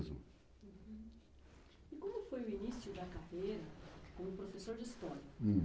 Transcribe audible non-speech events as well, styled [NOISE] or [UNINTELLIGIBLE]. [UNINTELLIGIBLE] E como foi o início da carreira como professor de História?